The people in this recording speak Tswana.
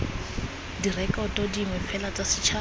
direkoto dingwe fela tsa setšhaba